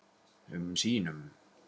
um sínum.